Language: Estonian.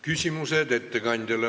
Küsimused ettekandjale.